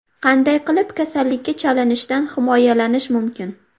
Qanday qilib kasallikka chalinishdan himoyalanish mumkin?.